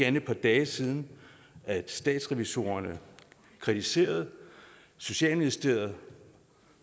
end et par dage siden at statsrevisorerne kritiserede børne og socialministeriet